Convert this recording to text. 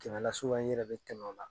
Kɛmɛ la ibɛ tɛmɛ ola